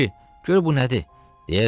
Kişi, gör bu nədir?